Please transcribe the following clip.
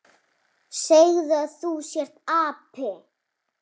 Segðu að þú sért api!